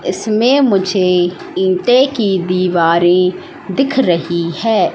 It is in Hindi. इसमें मुझे ईंटें की दिवारे दिख रही हैं।